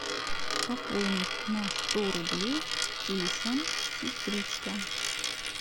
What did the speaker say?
пополнить на сто рублей телефон сестричка